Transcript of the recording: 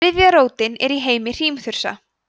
þriðja rótin er í heimi hrímþursa